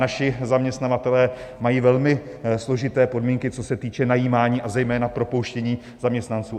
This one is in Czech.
Naši zaměstnavatelé mají velmi složité podmínky, co se týče najímání, a zejména propouštění zaměstnanců.